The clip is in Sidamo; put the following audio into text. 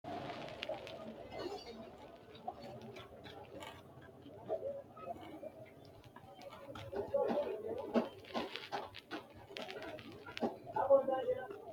sidaamu dagga manni sidaamunnita budu udanno udire shoolu labalinna shoolu seenni uure afamanoha ikanna insara badheenni higge duucha haqqe afantanno.